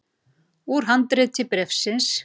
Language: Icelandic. Úr handriti bréfsins